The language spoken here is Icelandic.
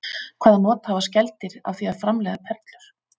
Hvaða not hafa skeldýr af því að framleiða perlur?